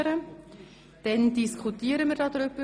Anschliessend diskutieren wir über den Rückweisungsantrag.